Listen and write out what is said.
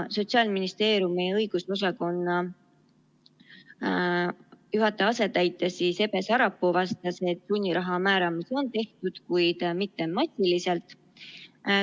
Sotsiaalministeeriumi õigusosakonna juhataja asetäitja Ebe Sarapuu vastas, et sunniraha määramisi on tehtud, kuid mitte massiliselt.